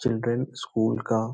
children school का --